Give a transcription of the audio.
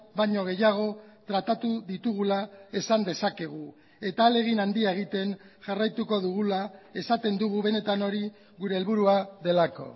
baino gehiago tratatu ditugula esan dezakegu eta ahalegin handia egiten jarraituko dugula esaten dugu benetan hori gure helburua delako